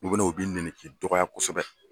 U bɛ na u b'i nɛni , u b'i dɔgɔya kosɛbɛ.